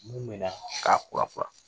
Mun bɛna k'a kura kura